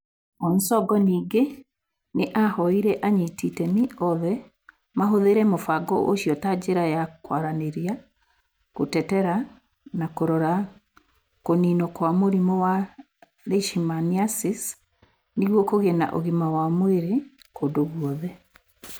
Onsongo ningĩ nĩ ahoire anyiti itemi othe mahũthĩre mũbango ũcio ta njĩra ya kwaranĩria, gũtetera na kũrora kũniinwo kwa mũrimũ wa Leishmaniasis nĩguo kũgĩe na ũgima wa mwĩrĩ kundũ gwothe.